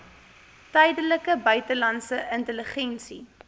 tydige buitelandse intelligensie